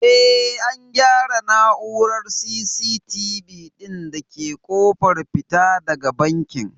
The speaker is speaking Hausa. Eh an gyara na'urar C.CT.V ɗin da ke ƙofar fita daga bankin